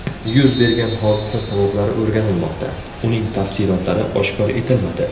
Yuz bergan hodisa sabablari o‘rganilmoqda, uning tafsilotlari oshkor etilmadi.